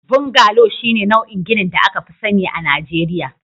Bungalow shine nau'in ginin da aka fi sani a Najeriya